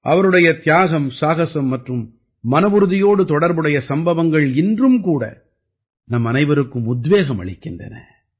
அவருடைய தியாகம் சாகஸம் மற்றும் மனவுறுதியோடு தொடர்புடைய சம்பவங்கள் இன்றும் கூட நம்மனைவருக்கும் உத்வேகம் அளிக்க்கின்றன